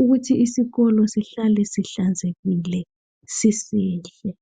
ukuthi isikolo sihlale sihlanzekile sisihle.